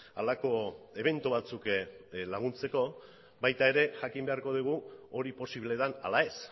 halako ebento batzuk laguntzeko baita ere jakin beharko dugu hori posible den ala ez